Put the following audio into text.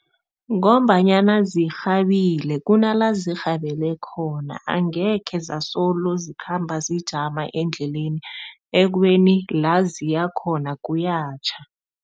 Ngombanyana zirhabile, kunala zirhabele khona. Angekhe zasolo zikhamba zijama endleleni, ekubeni la ziyakhona kuyatjha.